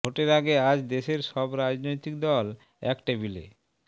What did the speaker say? ভোটের আগে আজ দেশের সব রাজনৈতিক দল এক টেবিলে